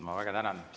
Ma väga tänan!